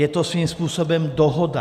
Je to svým způsobem dohoda.